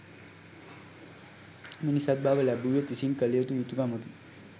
මිනිසත් බව ලැබූවෙක් විසින් කළ යුතු යුතුකමකි.